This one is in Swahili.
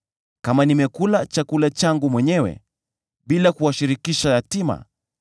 kama nimekula chakula changu mwenyewe, bila kuwashirikisha yatima;